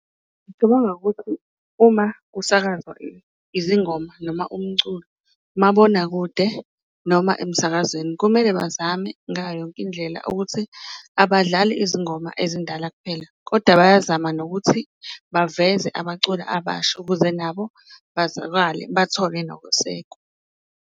Ngicabanga ukuthi uma kusakazwa izingoma noma umculo umabonakude noma emsakazweni, kumele bazame ngayo yonke indlela ukuthi abadlali izingoma ezindala kuphela, koda bayazama nokuthi baveze abaculi abasha ukuze nabo bazakwale bathole nokusekwa.